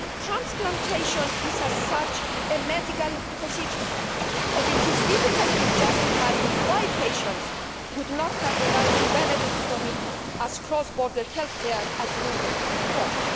Transplantation is a medical procedure and it is difficult to justify why patients should not have the right to benefit from it as cross border health care, as ruled by the Court.